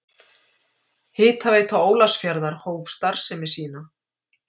Hitaveita Ólafsfjarðar hóf starfsemi sína.